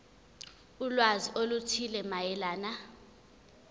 ulwazi oluthile mayelana